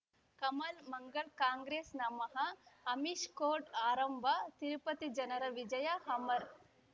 ಕಮಲ್ ಮಂಗಳ್ ಕಾಂಗ್ರೆಸ್ ನಮಃ ಅಮಿಷ್ ಕೋರ್ಟ್ ಆರಂಭ ತಿರುಪತಿ ಜನರ ವಿಜಯ ಅಮರ್